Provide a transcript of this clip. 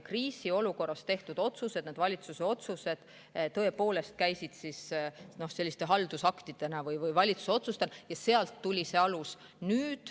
Kriisiolukorras tehtud valitsuse otsused olid selliste haldusaktidena, sealt tuli see alus.